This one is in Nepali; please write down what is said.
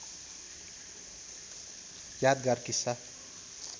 यादगार किस्सा